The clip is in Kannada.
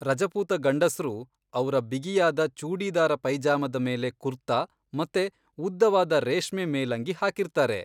ರಜಪೂತ ಗಂಡಸ್ರು ಅವ್ರ ಬಿಗಿಯಾದ ಚೂಡಿದಾರ ಪೈಜಾಮದ ಮೇಲೆ ಕುರ್ತಾ ಮತ್ತೆ ಉದ್ದವಾದ ರೇಷ್ಮೆ ಮೇಲಂಗಿ ಹಾಕಿರ್ತಾರೆ.